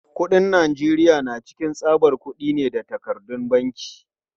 Kuɗin Najeriya na cikin tsabar kudi ne da takardun banki.